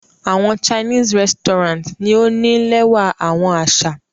Awọn chinese resturant ni o ni lẹwa awọn aṣa